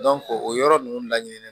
o yɔrɔ ninnu laɲinini